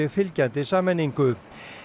fylgjandi sameiningu